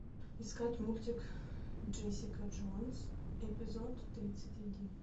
искать мультик джессика джонс эпизод тридцать один